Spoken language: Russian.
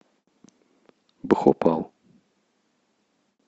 бхопал